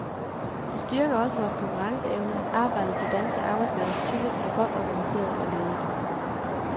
Det styrker også vores konkurrenceevne, at arbejdet på danske arbejdspladser typisk er godt organiseret og ledet.